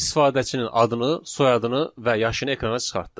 İstifadəçinin adını, soyadını və yaşını ekrana çıxartdı.